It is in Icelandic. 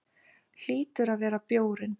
Hlýtur að vera bjórinn.